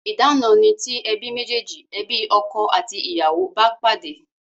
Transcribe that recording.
Idana ni ti ebi mejeji, ebi ọkọ àti ìyàwó bá pàdé